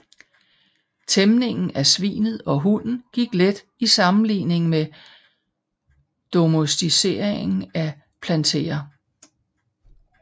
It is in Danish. Tæmningen af svinet og hunden gik let i sammenligning med domesticeringen af planteer